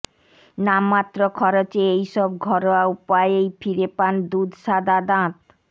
নামমাত্র খরচে এই সব ঘরোয়া উপায়েই ফিরে পান দুধসাদা দাঁত